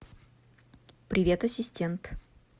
привет ассистент